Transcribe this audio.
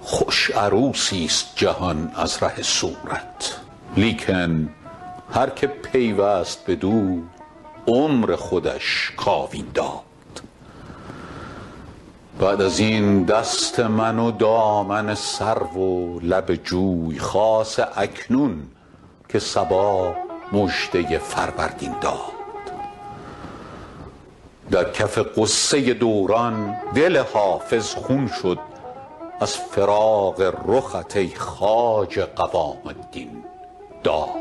خوش عروسیست جهان از ره صورت لیکن هر که پیوست بدو عمر خودش کاوین داد بعد از این دست من و دامن سرو و لب جوی خاصه اکنون که صبا مژده فروردین داد در کف غصه دوران دل حافظ خون شد از فراق رخت ای خواجه قوام الدین داد